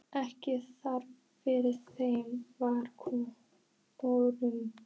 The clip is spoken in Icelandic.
Ekki þar fyrir, þeim var vorkunn.